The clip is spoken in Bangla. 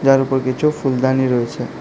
তার উপর কিছু ফুলদানি রয়েছে।